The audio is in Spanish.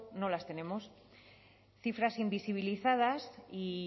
no las tenemos cifras invisibilizadas y